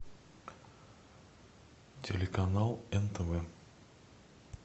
телеканал нтв